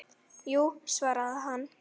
Jú svaraði hann.